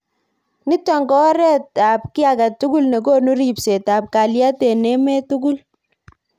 Nitok ko oret ab ki agetugul nekonu ribset ab kaliet eng emet tugul.